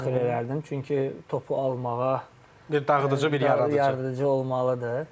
daxil elərdim, çünki topu almağa bir dağıdıcı, bir yaradıcı olmalıdır.